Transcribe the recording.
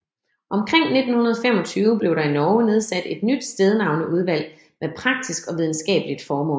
Omkring 1925 blev der i Norge nedsat et nyt stednavneudvalg med praktisk og videnskabeligt formål